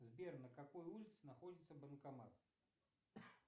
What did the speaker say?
сбер на какой улице находится банкомат